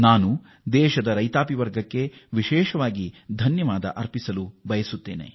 ನಾನು ವಿಶೇಷವಾಗಿ ನಮ್ಮ ದೇಶದ ರೈತರನ್ನು ಅಭಿನಂದಿಸಲು ಇಚ್ಛಿಸುತ್ತೇನೆ